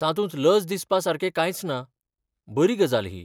तातूंत लज दिसापासारकें कांयच ना, बरी गजाल ही.